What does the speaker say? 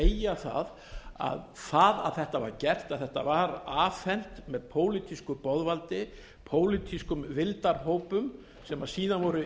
ég er bara að segja það að þetta var gert að þetta var afhent með pólitísku boðvaldi pólitískum vildarhópum sem síðan voru